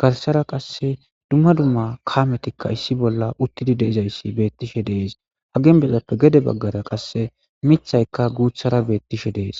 garsara qasse dumma dumma kaametikka issi bolla uttidi deizayssi beettishe dees ha ginbezappe gede baggara qasse mithaykka guuthara beettishe dees